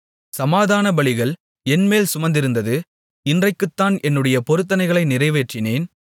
சமாதான பலிகள் என்மேல் சுமந்திருந்தது இன்றைக்குத்தான் என்னுடைய பொருத்தனைகளை நிறைவேற்றினேன்